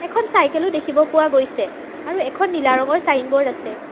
এখন চাইকেল ও দেখিব পোৱা গৈছে আৰু এখন নীলা ৰঙৰ চাইনবোৰ্ড আছে।